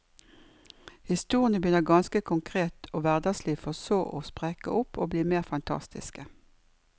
Historiene begynner ganske konkret og hverdagslig for så å sprekke opp og bli mer fantastiske.